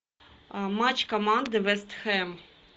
матч команды вест хэм